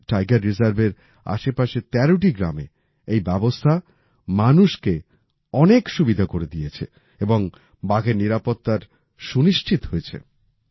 আজ এই টাইগার রিজার্ভের আশেপাশের তেরোটি গ্রামে এই ব্যবস্থা মানুষকে অনেক সুবিধা করে দিয়েছে এবং বাঘের নিরাপত্তার সুনিশ্চিত হয়েছে